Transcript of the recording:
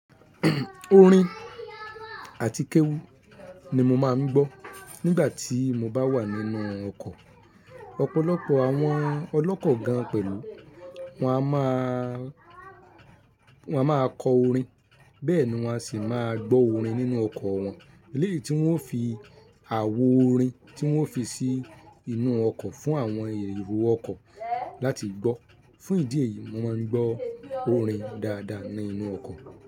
Orin àti kéwú ní mo máa ń gbọ́ nígbà tí mo bá wà nínú ọkọ̀. Ọ̀pọ̀lọpọ̀ àwọn ọlọ́kọ̀ gan pẹ̀lú wọ́n a máa wọ́n a máa kọ orin bẹ́ẹ̀ ni wọ́n sì máa gbọ́ orin nínú ọkọ̀ wọn eléyì tí wọ́n o fi àwo orin tí wọ́n fi sí inú ọkọ̀ fún àwọn èrò ọkọ̀ láti gbọ́. Fún ìdí èyí, mo máa ń gbọ́ orin dáadáa nínú ọkọ̀